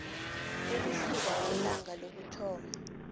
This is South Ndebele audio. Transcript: ukusuka ngelanga lokuthoma